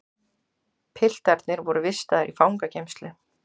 Piltarnir voru vistaðir í fangageymslu